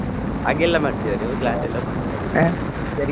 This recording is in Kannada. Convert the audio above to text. ಹಾಗೆಲ್ಲಾ ಮಾಡ್ತೀರಾ ನೀವು class ಎಲ್ಲಾ .